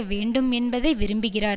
வேண்டும் என்பதை விரும்புகிறார்